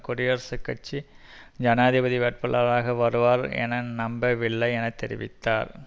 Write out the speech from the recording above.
குடியரசுக் கட்சி ஜனாதிபதி வேட்பாளராக வருவார் என நம்பவில்லை என தெரிவித்தார்